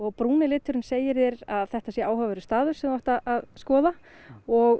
brúni liturinn segir þér að þetta sé áhugaverður staður sem þú átt að skoða og